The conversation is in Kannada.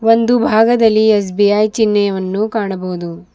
ಒಂದು ಭಾಗದಲ್ಲಿ ಎಸ್_ಬಿ_ಐ ಚಿಹ್ನೆಯವನ್ನು ಕಾಣಬಹುದು.